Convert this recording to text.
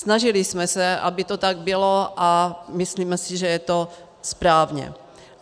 Snažili jsme se, aby to tak bylo, a myslíme si, že je to správné.